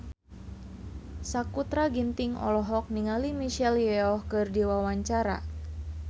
Sakutra Ginting olohok ningali Michelle Yeoh keur diwawancara